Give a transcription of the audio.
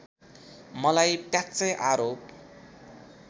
मलाई प्याच्चै आरोप